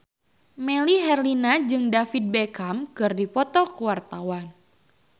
Melly Herlina jeung David Beckham keur dipoto ku wartawan